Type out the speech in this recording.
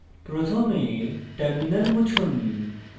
প্রথমে terminal মুছুন